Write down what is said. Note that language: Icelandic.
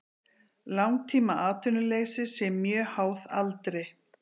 Langtímaatvinnuleysi sé mjög háð aldri